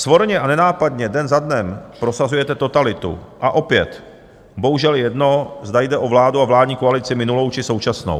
Svorně a nenápadně den za dnem prosazujete totalitu a opět bohužel jedno, zda jde o vládu a vládní koalici minulou, či současnou.